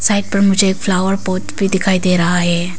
मुझे एक flower pot भी दिखाई दे रहा है।